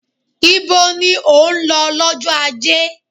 Ibo ni ò ń lọ lọ́jọ́ ajé?